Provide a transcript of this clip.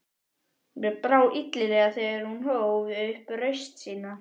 Mér brá illilega þegar hún hóf upp raust sína